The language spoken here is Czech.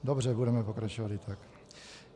Dobře, budeme pokračovat i tak.